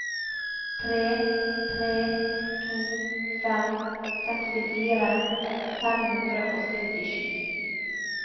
tre tre to fem sekstifire fem hundre og syttisju